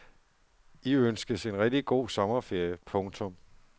I ønskes en rigtig god sommerferie. punktum